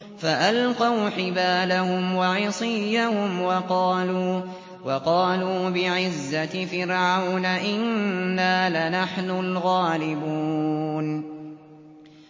فَأَلْقَوْا حِبَالَهُمْ وَعِصِيَّهُمْ وَقَالُوا بِعِزَّةِ فِرْعَوْنَ إِنَّا لَنَحْنُ الْغَالِبُونَ